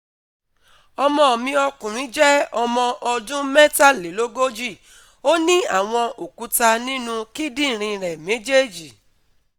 ọmọ mi ọkùnrin je ọmọ ọdún mẹ́tàlélógójì, ó ní àwọn òkúta ninu kindinrin ré méjèèjì